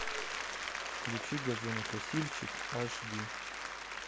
включи газонокосильщик аш ди